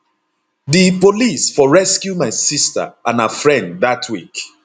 di police for rescue my sister and her friend dat week